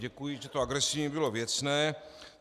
Děkuji, že to agresivní bylo věcné.